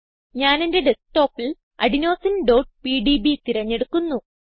ഞാനെന്റെ ഡെസ്ക്ടോപ്പിൽ adenosineപിഡിബി തിരഞ്ഞെടുക്കുന്നു